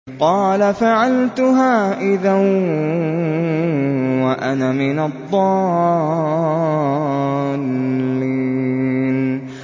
قَالَ فَعَلْتُهَا إِذًا وَأَنَا مِنَ الضَّالِّينَ